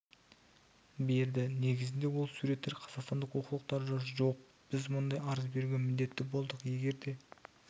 берді негізінде ол суреттер қазақстандық оқулықтарда жоқ біз мұндай арыз беруге міндетті болдық егер де